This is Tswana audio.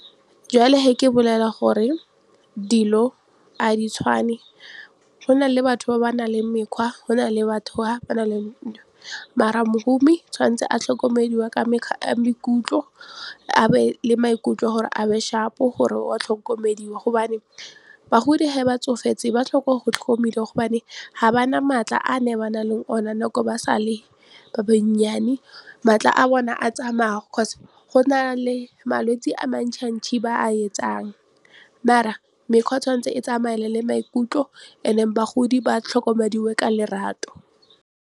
Jwale he ke bolela gore dilo a di tshwane go na le batho ba ba nang le mekgwa go na le batho ba ba nang le ng mara mohumi tshwanetse a tlhokomediwa ka maikutlo a be le maikutlo gore a be sharp-o gore wa tlhokomediwa gobane bagodi he ba tsofetse ba tlhoka go tlhokomediwa gobane ga ba na maatla a ne ba na leng ona nako ba sale ba bannyane maatla a bona a tsamaya go na le malwetse a ba a etsang maar-a mekgwa tshwanetse e tsamaye le maikutlo and then bagodi ba tlhokomediwe ka lerato.